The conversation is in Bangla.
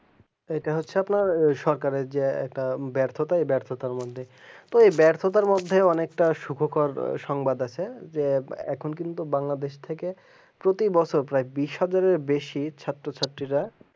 এইটা হচ্ছে আপনার সরকারে যে ব্যর্থতা ব্যর্থতার মধ্যে এই ব্যর্থতার মধ্যে অনেকটা শুভকার সংবাদ আছে যে এখন কিন্তু বাংলাদেশ থেকে প্রতিবছর প্রায় কুড়ি হাজারের বেশি ছাত্র-ছাত্রীরা